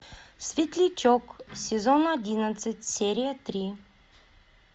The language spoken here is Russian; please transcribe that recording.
светлячок сезон одиннадцать серия три